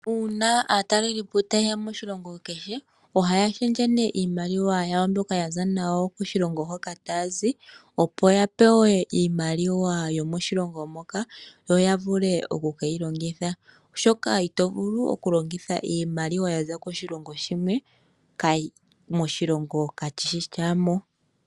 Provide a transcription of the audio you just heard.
Una aatalelipo taye ya moshilongo kehe ohaya shendje iimaliwa yawo mbyoka yaza nayo koshilongo hoka taya zi opo ya pewe iimaliwa yomoshilongo moka yo ya vule oku keyi longitha, oshoka ito vulu oku longitha iimaliwa yaza koshilongo shimwe moshilongo kashishi shamoka.